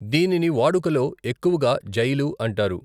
దీనిని వాడుకలో ఎక్కువగా జైలు అంటారు.